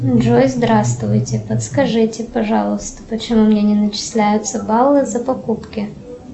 джой здравствуйте подскажите пожалуйста почему мне не начисляются баллы за покупки